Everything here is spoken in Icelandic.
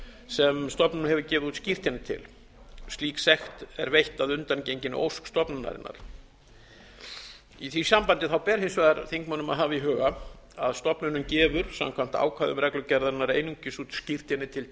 sem stofnunin hefur gefið út skírteini til slík sekt er veitt að undangenginni ósk stofnunarinnar í því sambandi ber hins vegar þingmönnum að hafa í huga að stofnunin gefur samkvæmt ákvæðum reglugerðarinnar einungis út skírteini til